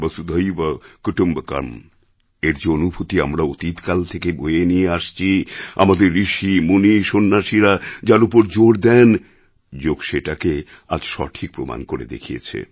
বসুধৈব কুটুম্বকমএর যে অনুভূতি আমরা অতীতকাল থেকে বয়ে নিয়ে আসছি আমাদের ঋষি মুনি সন্ন্যাসীরা যার উপর জোর দেন যোগ সেটাকে আজ সঠিক প্রমাণ করে দেখিয়েছে